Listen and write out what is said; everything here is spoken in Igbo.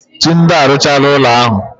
Tunde arụchaala ụlọ ya ahu.